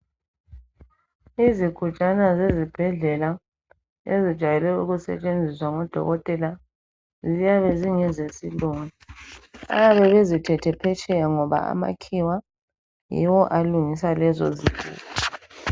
Izigujana zezibhedlela ezijayele ukusebenziswa ngodokotela ziyabe zingeze silungu abayabe bezithethe phetsheya ngoba amakhiwa yiwo alungisa lezo zigubhu.